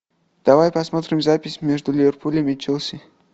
давай посмотрим запись между ливерпулем и челси